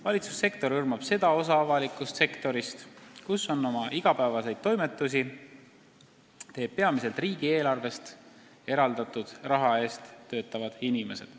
Valitsussektor hõlmab seda osa avalikust sektorist, kus oma igapäevaseid toimetusi teevad peamiselt riigieelarvest eraldatud raha eest töötavad inimesed.